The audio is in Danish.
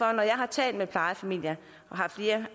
jeg har talt med plejefamilier har flere